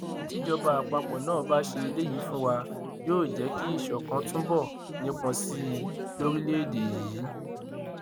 tíjọba àpapọ náà bá ṣe eléyìí fún wa yóò jẹ kí ìṣọkan túbọ nípọn sí i lórílẹèdè yìí